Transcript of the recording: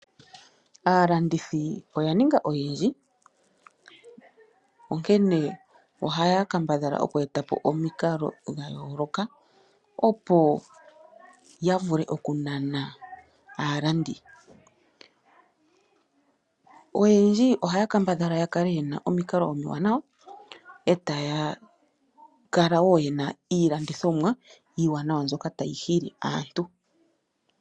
Aalandithi oya ninga oyendji, onkene ohaya kambadhala oku etapo omikalo dhayoloka opo ya vule oku nana aalandi. Oyendji oha ya kambadhala oku kala yena omikalo omiwanawa etaya kala wo yena iilandithomwa iiwanawa mbyoka tayi hi li aantu.